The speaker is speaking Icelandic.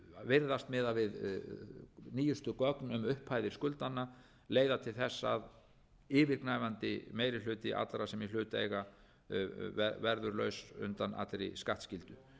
virðast miðað við nýjustu gögn um upphæðir skuldanna leiða til þess að yfirgnæfandi meiri hluti allra sem í hlut eiga verður laus undan allri skattskyldu